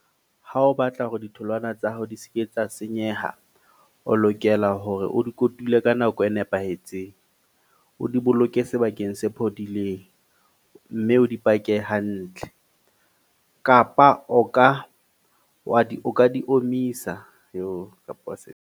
Ha o batla hore ditholwana tsa hao di ske tsa senyeha. O lokela hore o di kotule ka nako e nepahetseng. O di boloke sebakeng se phodileng. Mme o di pake hantle. Kapa o ka wa di o ka di omisa .